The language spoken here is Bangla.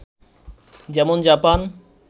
যেমন জাপান